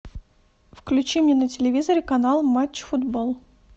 включи мне на телевизоре канал матч футбол